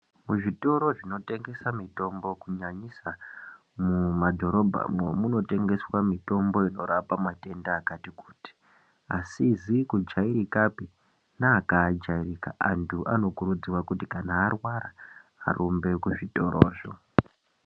Muzvitoro zvinotengesa mitombo kunyanyisa mumabhorodhamo munotengeswa mitombo inorapa matenda akati kuti asizi kujairikapi neakajairika antu anokurudzirwa kuti kana arwara arumbe kuzvitorizvo.